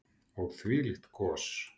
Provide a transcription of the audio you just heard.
Og þvílíkt gos.